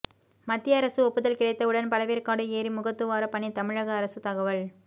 மத்திய அரசு ஒப்புதல் கிடைத்தவுடன் பழவேற்காடு ஏரி முகத்துவார பணி தமிழக அரசு தகவல்